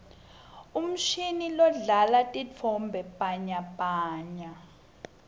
uumshini lodlala titfombe bhanyabhanya